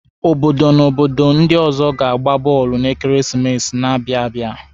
Obodo na obodo ndi ọzọ ga-agba bọọlụ n'ekeresimesi na-abịa abịa.